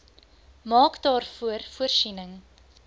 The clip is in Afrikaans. maak daarvoor voorsiening